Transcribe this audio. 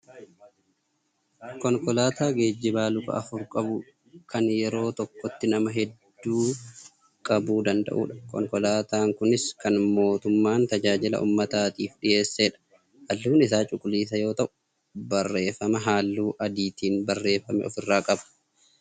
Konkolaataa geejjibaa luka afur qabu kan yeroo tokkotti nama heedduu qabuu danda'udha. Konkolaataan kunis kan mootummaan tajaajila uummataatiif dhiyeessedha. Haalluun isaa cuquliisaa yoo ta'u barreeffama haalluu adiitiin barreeffame of irraa qaba.